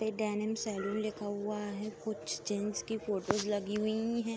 ये denim saloon लिखा हुआ है। कुछ जेंट्स की फोटोज़ लगी हुई हैं।